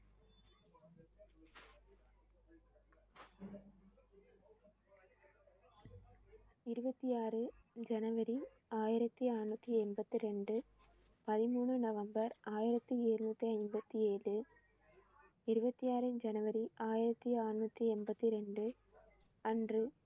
இருபத்தி ஆறு ஜனவரி ஆயிரத்தி அறுநூத்தி எண்பத்தி ரெண்டு - பதிமூணு நவம்பர் ஆயிரத்தி எழுநூத்தி ஐம்பத்தி ஏழு. இருபத்தி ஆறு ஜனவரி ஆயிரத்தி அறுநூத்தி எண்பத்தி ரெண்டு அன்று